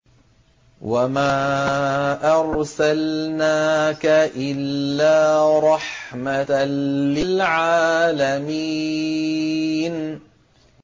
وَمَا أَرْسَلْنَاكَ إِلَّا رَحْمَةً لِّلْعَالَمِينَ